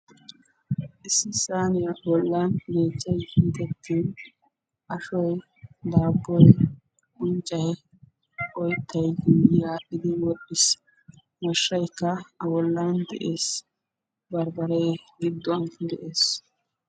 issi saaniya bollan yeechchay hiixetin ashshoy, daaboy, unccay, oyttan yuuyi aadhdhiid wodhdhiis, mashshaykka a bollan de'ees; barbbare gidduwan de'ees.